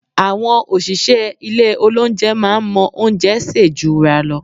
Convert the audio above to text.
Àwọn òṣìṣẹ́ ilé olóunjẹ máa ń mọ oúnjẹ sè jura lọ